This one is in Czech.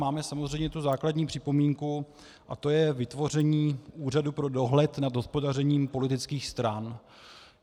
Máme samozřejmě tu základní připomínku, a to je vytvoření úřadu pro dohled nad hospodařením politických stran.